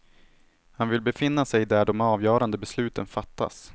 Han vill befinna sig där de avgörande besluten fattas.